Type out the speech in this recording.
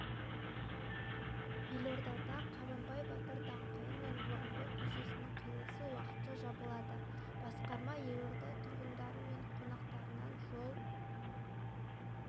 елордада қабанбай батыр даңғылы мен орынбор көшесінің қиылысы уақытша жабылады басқарма елорда тұрғындары мен қонақтарынан жол